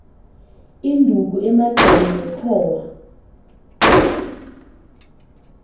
induku emagxeni nenxhowa